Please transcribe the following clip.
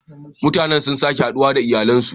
Mutanen sun sake haduwa da iyalansu.